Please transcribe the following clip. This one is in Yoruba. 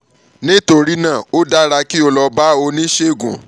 nítorí náà ó dára kí o lọ bá oníṣègùn kan kó o sì ṣe ìdààmú ọkàn